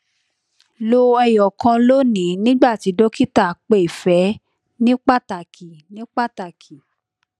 lo ẹyọkan loni nigba ti dokita pe fe ni pataki ni pataki